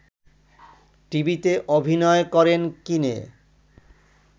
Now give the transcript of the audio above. টিভিতে অভিনয় করেন কিনে